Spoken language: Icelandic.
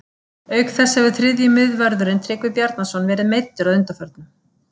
Auk þess hefur þriðji miðvörðurinn Tryggvi Bjarnason verðið meiddur að undanförnu.